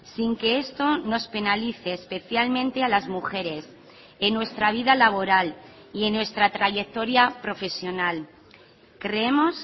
sin que esto nos penalice especialmente a las mujeres en nuestra vida laboral y en nuestra trayectoria profesional creemos